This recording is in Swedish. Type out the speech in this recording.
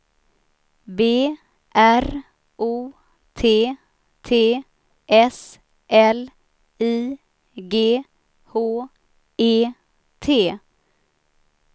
B R O T T S L I G H E T